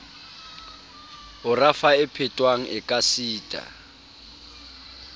ho rafa e phethwang ekasita